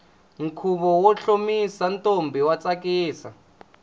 khuvo wo hlomisa ntombi wa tsakisa